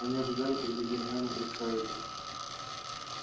они ожидали когда гермиона представит их